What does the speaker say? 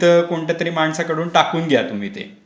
तिथे कोणत्यातरी तरी माणसाकडून टाकून घ्या तुम्ही ते.